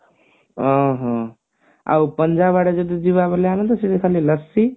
ଆଁ ହଁ ଆଉ ପଞ୍ଜାବ ଆଡେ ଯଦି ଯିବା ବୋଇଲେ ଆମେ ତ ସେଠି ଖାଲି ଲସି